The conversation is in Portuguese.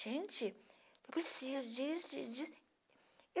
Gente, eu preciso disso, disso.